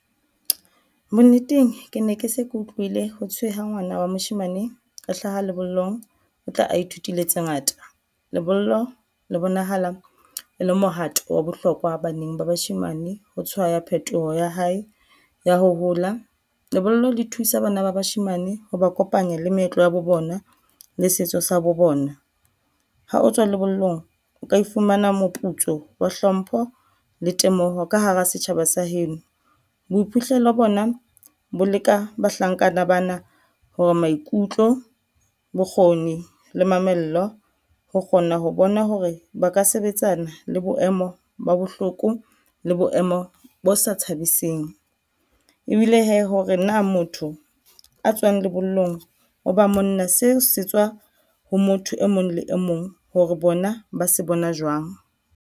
Bonneteng ke ne ke se ke utlwile hothwe ha ngwana wa moshemane a hlaha lebollong o tla a ithutile tse ngata. Lebollo le bonahala e le mohato wa bohlokwa baneng ba bashemane ho tshwaya phetoho ya hae ya ho hola, lebollo le thusa bana ba bashemane ha ba kopanya le meetlo ya bo bona le setso sa bo bona. Ha o tswa lebollong, o ka e fumana moputso wa hlompho le temoho ka hara setjhaba sa heno. Boiphihlelo bona bo leka bahlankana bana hore maikutlo, bokgoni le mamello ho kgona ho bona hore ba ka sebetsana le boemo ba bohloko le boemo bo sa thabising ebile hee hore na motho a tswang lebollong o ba monna seo se tswa ho motho e mong le e mong hore bona ba se bona jwang.